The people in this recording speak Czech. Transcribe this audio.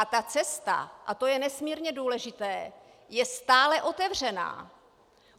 A ta cesta, a to je nesmírně důležité, je stále otevřená.